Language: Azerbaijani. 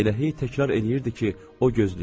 Elə hey təkrar eləyirdi ki, o gözləyir.